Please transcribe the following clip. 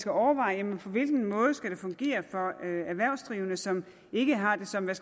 skal overveje på hvilken måde det skal fungere for erhvervsdrivende som ikke har det som en